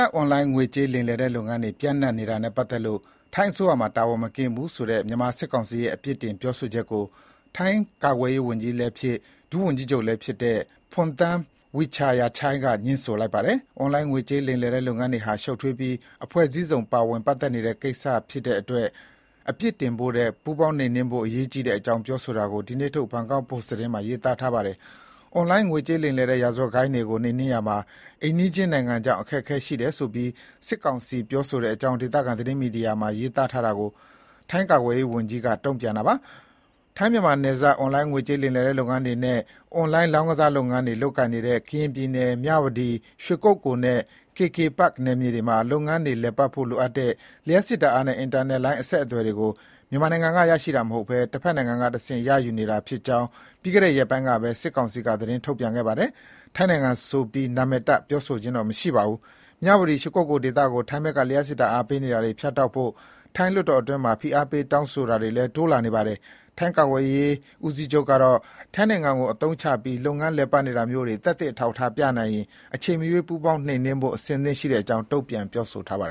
ပ် အွန်လိုင်းငွေကြေးလိမ်လည်တဲ့ လုပ်ငန်းတွေ ပျံ့နှံ့နေတာနဲ့ ပတ်သက်လို့ ထိုင်းအစိုးရမှာ တာဝန်မကင်းဘူးဆိုတဲ့ မြန်မာစစ်ကောင်စီရဲ့ အပြစ်တင်ပြောဆိုချက်ကို ထိုင်းကာကွယ်ရေးဝန်ကြီးလည်းဖြစ် ဒုဝန်ကြီးချုပ်လည်း ဖြစ်တဲ့ Phumtham Wechayachai က ငြင်းဆိုလိုက်ပါတယ်။ အွန်လိုင်းငွေကြေးလိမ်လည်တဲ့ လုပ်ငန်းတွေဟာ ရှုပ်ထွေးပြီး အဖွဲ့အစည်းစုံ ပါဝင်ပတ်သက်နေတဲ့ ကိစ္စတွေဖြစ်တဲ့အတွက် အပြစ်တင်ဖို့ထက် ပူးပေါင်းနှိမ်နှင်းဖို့ အရေးကြီးတဲ့အကြောင်း ပြောဆိုတာကို ဒီနေ့ထုတ် ဘတ်ကောက်ပို့စ်သတင်းစာမှာ ရေးထားပါတယ်။ အွန်လိုင်း ငွေကြေးလိမ်လည်တဲ့ ရာဇဝတ်ဂိုဏ်းတွေကို နှိမ်နှင်းရေးမှာ အိမ်နီးချင်းနိုင်ငံကြောင့် အခက်အခဲရှိတယ်ဆိုပြီး စစ်ကောင်စီပြောဆိုတဲ့အကြောင်း ဒေသခံ သတင်းမီဒီယာတခုမှာ ရေးသားထားတာကို ထိုင်းကာကွယ်ရေးဝန်ကြီး Wechayachai က တုံ့ပြန်တာပါ။ ထိုင်းမြန်မာနယ်ခြား အွန်လိုင်းငွေကြေး လိမ်လည်တဲ့ လုပ်ငန်းတွေနဲ့ အွန်လိုင်းလောင်းကစား လုပ်ငန်းတွေ လုပ်ကိုင်နေတဲ့ ကရင်ပြည်နယ် မြဝတီ ရွှေကုက္ကိုလ် နဲ့ KK Park နယ်မြေတွေမှာ လုပ်ငန်းတွေလည်ပတ်ဖို့ လိုအပ်တဲ့ လျှပ်စစ်ဓာတ်အားနဲ့ အင်တာနက်လိုင်းအဆက်အသွယ်ကို မြန်မာနိုင်ငံအတွင်းမှ ရရှိတာ မဟုတ်ဘဲ၊ တဖက်နိုင်ငံကတဆင့် ရယူနေတာ ဖြစ်ကြောင်း ပြီးခဲ့တဲ့ ရက်ပိုင်းကပဲ စစ်ကောင်စီက သတင်းထုတ်ပြန်ခဲ့ပါတယ်။ ထိုင်းနိုင်ငံဆိုတဲ့ နာမည်ကိုတော့ ပြောဆိုခြင်းမရှိပါဘူး။ မြဝတီ ရွှေကုက္ကိုလ်ဒေသကို ထိုင်းဘက်က လျှပ်စစ်ဓါတ်အားပေးနေတာတွေ ဖြတ်တောက်ဖို့ ထိုင်းလွှတ်တော်အတွင်းမှာ ဖိအားပေးတောင်းဆိုတာတွေလည်း တိုးလာနေပါတယ်။ ထိုင်း ကာကွယ်ရေးဦးစီးချုပ်ကတော့ ထိုင်းနိုင်ငံကို အသုံးချပြီး လုပ်ငန်းလည်ပတ်နေတာမျိုးတွေ သက်သေအထောက်အထားပြနိုင်ရင် အချိန်မရွေး ပူးပေါင်းနှိမ်နှင်းဖို့ အဆင့်သင့်ရှိတဲ့အကြောင်း တုံ့ပြန်ပြောဆိုပါတယ်